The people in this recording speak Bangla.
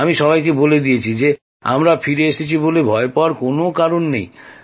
আমি সবাইকে বলে দিয়েছি যে আমরা ফিরে এসেছি বলে ভয় পাওয়ার কোন কারণ নেই